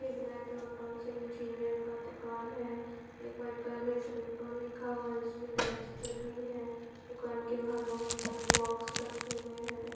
विनायक लॉटंग से इंजीनियर का दुकान है एक वाइट कलर में क्रिमटोन लिखा हुआ है जिसमें लाइट्स चल रही हैं दुकान के बाहर बहुत सारे बॉक्स रखे हुए हैं।